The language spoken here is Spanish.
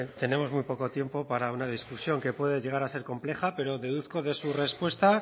tenemos muy poco tiempo para una discusión que puede llegar a ser compleja pero deduzco de su respuesta